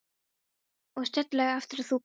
Og sérstaklega eftir að þú komst.